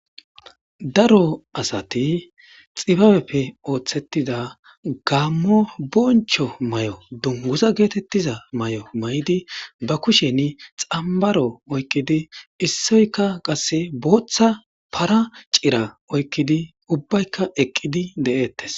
Daro asat xibabeppe osetida gamo boncho mayo dunguza getetiza mayo mayid , ba kushen xambaro ogkid issoyja qase bootha para cira oykid ubbayka Eqid de'etes.